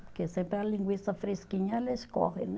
Porque sempre a linguiça fresquinha, ela escorre, né?